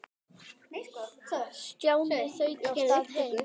Stjáni þaut af stað heim.